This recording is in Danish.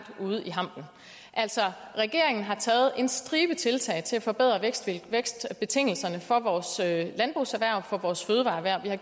ude i hampen altså regeringen har taget en stribe tiltag til forbedring af vækstbetingelserne for vores landbrugserhverv og for vores fødevareerhverv